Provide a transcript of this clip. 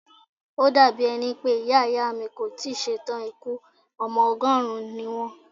Ó dà bí ẹni pé Ìyá Ìyá mi kò tí ì ṣe tàn ikú, ọmọ ọgọ́rùn-ún ni wón.